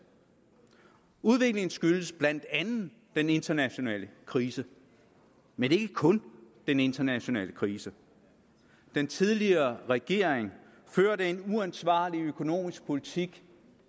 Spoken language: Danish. udviklingen skyldes blandt andet den internationale krise men ikke kun den internationale krise den tidligere regering førte en uansvarlig økonomisk politik